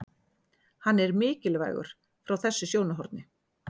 Hann er mikilvægur frá þessu sjónarhorni.